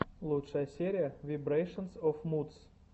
лучшая серия вибрэйшэнс оф мудс